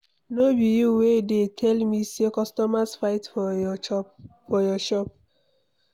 No be you wey dey tell me say customers fight for your shop.